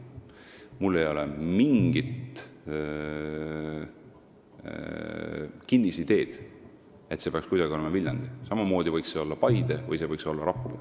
Mul ei ole mingit kinnisideed, et see peaks olema Viljandi, samamoodi võiks see olla Paide või Rapla.